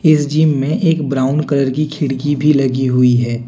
इस जीम मे एक ब्राऊन कलर की खिड़की भी लगी हुई है।